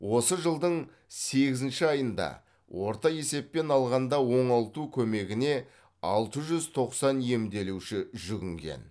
осы жылдың сегізінші айында орта есеппен алғанда оңалту көмегіне алты жүз тоқсан емделуші жүгінген